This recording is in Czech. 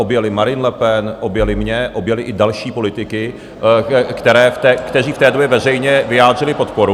Objeli Marine Le Pen, objeli mě, objeli i další politiky, kteří v té době veřejně vyjádřili podporu...